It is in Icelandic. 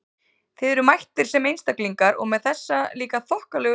Þið eruð mættir sem einstaklingar- og með þessa líka þokkalegu lista!